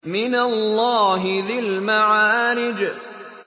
مِّنَ اللَّهِ ذِي الْمَعَارِجِ